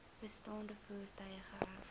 bestaande voertuie geërf